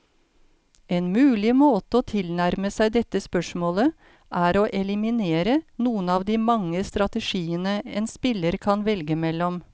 En mulig måte å tilnærme seg dette spørsmålet, er å eliminere noen av de mange strategiene en spiller kan velge mellom.